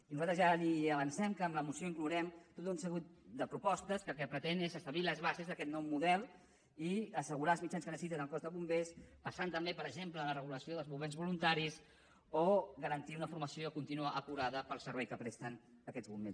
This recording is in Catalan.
i nosaltres ja li avancem que en la moció inclourem tot un seguit de propostes que el que pretenen és establir les bases d’aquest nou model i assegurar els mitjans que necessiten al cos de bombers pensant també per exemple en la regulació dels bombers voluntaris o garantir una formació contínua acurada per al servei que presten aquests bombers